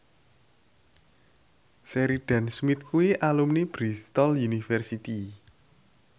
Sheridan Smith kuwi alumni Bristol university